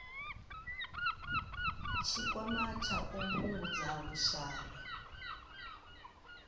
tshikwama tsha u fhungudza vhushai